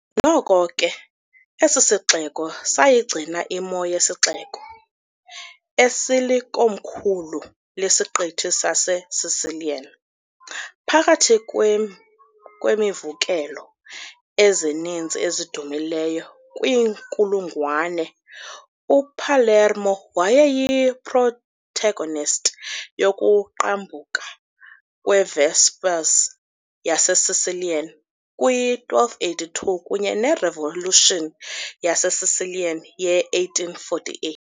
Noko ke, esi sixeko sayigcina imo yesixeko "esilikomkhulu lesiqithi saseSicilian" . Phakathi kweemvukelo ezininzi ezidumileyo kwiinkulungwane, uPalermo wayeyi-protagonist yokuqhambuka kwe- Vespers yaseSicilian kwi -1282 kunye ne- revolution yaseSicilian ye-1848 .